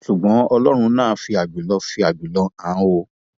ṣùgbọn ọlọrun náà fi àjùlọ fi àjùlọ hàn án o